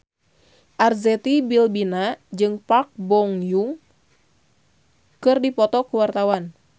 Arzetti Bilbina jeung Park Bo Yung keur dipoto ku wartawan